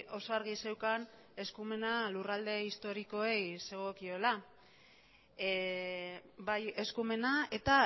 oso argi zeukan eskumena lurralde historikoei zegokiola bai eskumena eta